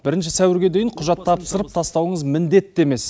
бірінші сәуірге дейін құжат тапсырып тастауыңыз міндетті емес